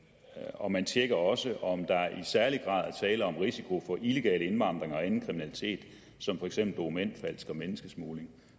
og man tjekker også om der i særlig grad er tale om risiko for illegal indvandring og anden kriminalitet som for eksempel dokumentfalsk og menneskesmugling